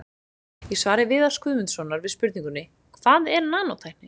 Í svari Viðars Guðmundssonar við spurningunni Hvað er nanótækni?